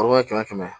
kɛmɛ kɛmɛ